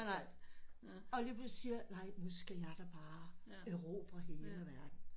Nej nej og lige pludselig siger nej nu skal jeg da bare erobre hele verden